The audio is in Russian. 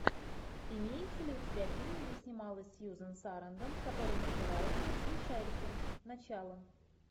имеется ли у тебя фильм где снималась сьюзен сарандон который называется смешарики начало